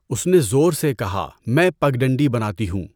اس نے زور سے کہا میں پگڈنڈی بناتی ہوں۔